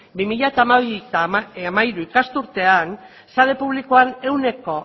bi mila hamabi bi mila hamairu ikasturtean sare publikoan ehuneko